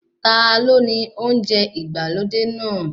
Ta ló ni ilé oúnjẹ ìgbàlódé náà?